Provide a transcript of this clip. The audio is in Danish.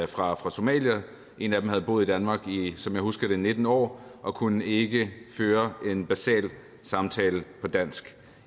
fra somalia en af dem havde boet i danmark i som jeg husker det nitten år og kunne ikke føre en basal samtale på dansk